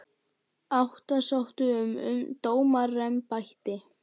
Átta sóttu um dómaraembætti